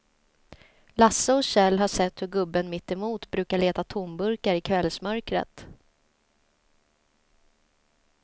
Lasse och Kjell har sett hur gubben mittemot brukar leta tomburkar i kvällsmörkret.